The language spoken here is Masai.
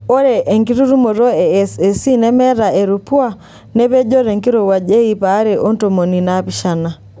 Ore enkitutumoto e SAC neemata erupuwua nepojo tenkirowuaj e iip are o tomon onaapishna.